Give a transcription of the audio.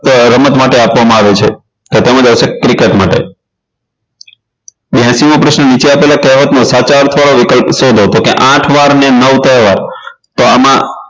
રમત માટે આપવામાં આવે છે તો તેમાં આવશે cricket માટે બ્યાશી મો પ્રશ્ન નીચે આપેલા કહેવતનો સાચા અર્થ વાળો વિકલ્પ શોધો તો કે આઠ વાર મે નવ ત્રણ વાર તો એમાં